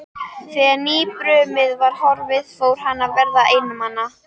Þegar nýjabrumið var horfið fór hann að verða einmana.